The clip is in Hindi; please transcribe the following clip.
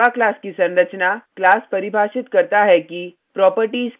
java class की संरचना class परिभाषित करता है कि